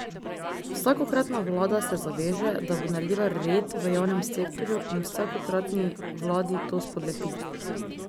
Vsakokratna vlada se zaveže, da bo naredila red v javnem sektorju in vsakokratni vladi to spodleti.